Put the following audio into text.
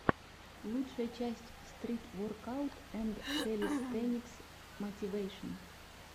лучшая часть стрит воркаут энд кэлистэникс мотивэйшн